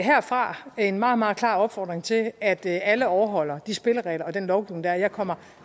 herfra en meget meget klar opfordring til at alle overholder de spilleregler og den lovgivning der er jeg kommer